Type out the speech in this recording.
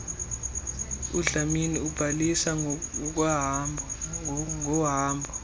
udlamini ubalisa ngohambo